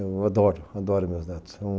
Eu adoro, adoro meus netos.